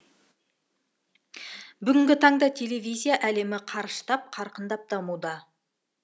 бүгінгі таңда телевизия әлемі қарыштап қарқындап дамуда